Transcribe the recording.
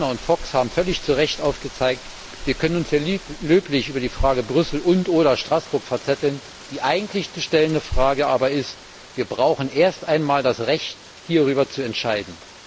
Häfner und Fox haben völlig zu Recht aufgezeigt Wir können uns hier löblich über die Frage Brüssel und oder Straßburg verzetteln, der eigentliche Punkt aber ist Wir brauchen erst einmal das Recht, hierüber zu entscheiden!